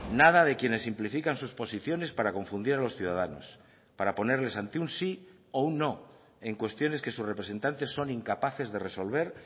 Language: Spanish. nada de quienes simplifican sus posiciones para confundir a los ciudadanos para ponerles ante un sí o un no en cuestiones que sus representantes son incapaces de resolver